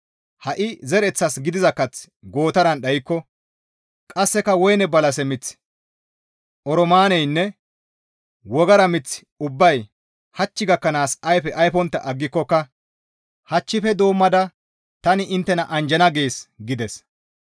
Ha7i zereththas gidiza kath gootaran dhaykko, qasseka woyneynne balase miththi, oroomaaneynne wogara miththi ubbay hach gakkanaas ayfe ayfontta aggikokka, hachchife doommada tani inttena anjjana› gees» gides.